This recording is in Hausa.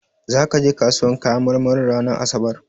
Zaka je kasuwar kayan marmarin ranar asabar?